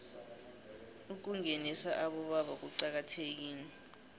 ukungenisa abobaba kucakathekile